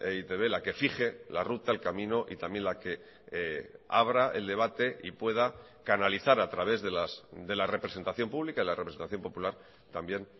e i te be la que fije la ruta el camino y también la que abra el debate y pueda canalizar a través de la representación pública y la representación popular también